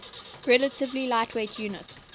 relatively lightweight unit